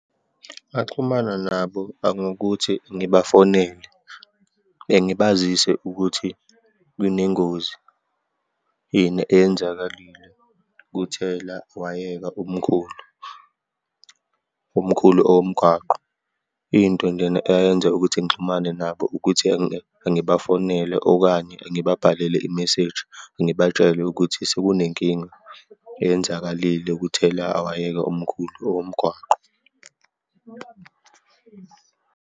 Ngaxhumana nabo, angokuthi ngibafonele, ngibazise ukuthi kunengozi eyenzakalile kuthelawayeka omkhulu, omkhulu owomgwaqo. Into njena eyayenza ukuthi ngixhumane nabo ukuthi ngibafonele, okanye ngibabhalele i-message, ngibatshele ukuthi sekunenkinga eyenzakalile kuthelawayeka omkhulu owomgwaqo.